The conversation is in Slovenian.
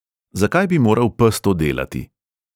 Zakaj bi moral pes to delati?